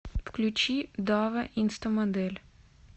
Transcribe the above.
включи дава инстамодель